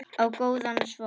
Ég á góðan son.